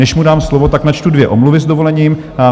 Než mu dám slovo, tak načtu dvě omluvy, s dovolením.